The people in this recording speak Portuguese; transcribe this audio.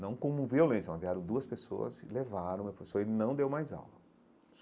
Não como violência, mas vieram duas pessoas, levaram o meu professor e ele não deu mais aula.